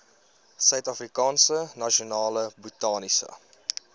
suidafrikaanse nasionale botaniese